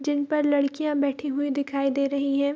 जिन पर लड़कियां बैठी हुई दिखाई दे रही हैं।